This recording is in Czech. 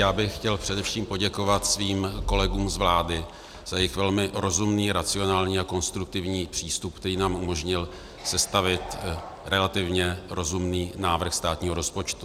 Já bych chtěl především poděkovat svým kolegům z vlády za jejich velmi rozumný, racionální a konstruktivní přístup, který nám umožnil sestavit relativně rozumný návrh státního rozpočtu.